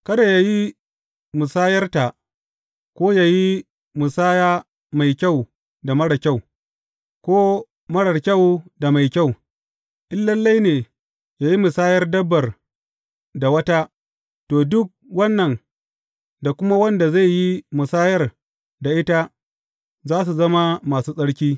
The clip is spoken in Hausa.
Kada yă yi musayarta ko yă yi musaya mai kyau da marar kyau, ko marar kyau da mai kyau; in lalle ne yă yi musayar dabbar da wata, to, duk wannan da kuma wanda zai yi musayar da ita za su zama masu tsarki.